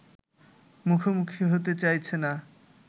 মুখোমুখি হতে চাইছে না